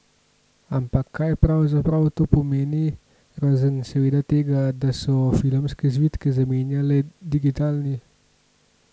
Ampak kaj pravzaprav to pomeni, razen tega seveda, da so filmske zvitke zamenjali digitalni paketi?